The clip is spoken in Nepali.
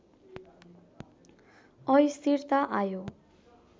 अस्थिरता आयो